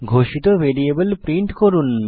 ঘোষিত variable print করুন